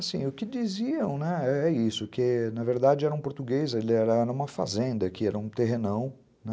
Assim, o que diziam, né, é isso, que, na verdade, era um português, ele era numa fazenda aqui, era um terrenão, né?